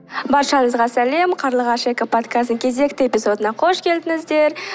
баршанызға сәлем қарлығаш экоподкасты кезекті эпизодына қош келдіңіздер